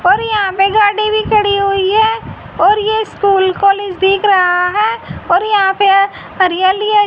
और यहां पे गाडी भी खड़ी हुई है और ये स्कूल कॉलेज दिख रहा है और यहां पे एअ हरियाली है।